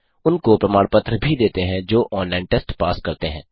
उनको प्रमाण पत्र भी देते हैं जो ऑनलाइन टेस्ट पास करते हैं